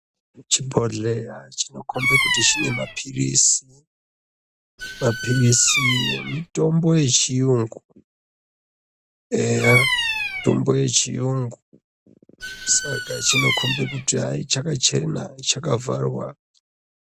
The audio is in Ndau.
Chibhodhleya chinokombe kuti chine maphilizi. Maphilizi mitombo yeChiYungu eya, mitombo yeChiyungu, saka chinokombe kuti hai chakachena chakavharwa.